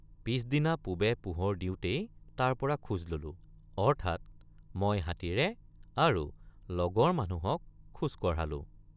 পিচদিনা পূবে পোহৰ দিওঁতেই তাৰপৰা খোজ ললো অৰ্থাৎ মই হাতীৰে আৰু লগৰ মানুহক খোজ কঢ়ালো।